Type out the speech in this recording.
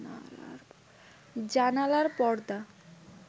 জানালার পর্দা